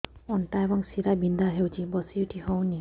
ଅଣ୍ଟା ଏବଂ ଶୀରା ବିନ୍ଧା ହେଉଛି ବସି ଉଠି ହଉନି